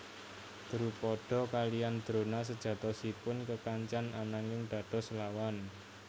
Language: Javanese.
Drupada kaliyan Drona sejatosipun kekancan ananging dados lawan